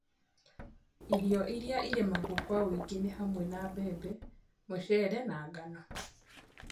Irio ĩrĩa irĩmagwo kwa ũingi nĩ hamwe na mbembe, mucere na ngano